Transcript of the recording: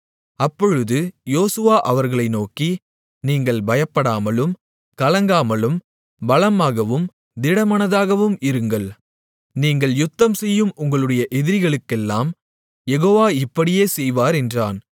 அப்பொழுது யோசுவா அவர்களை நோக்கி நீங்கள் பயப்படாமலும் கலங்காமலும் பலமாகவும் திடமனதாகவும் இருங்கள் நீங்கள் யுத்தம்செய்யும் உங்களுடைய எதிரிகளுக்கெல்லாம் யெகோவா இப்படியே செய்வார் என்றான்